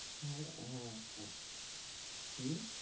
হ্যাঁ, হ্যাঁ আহ হম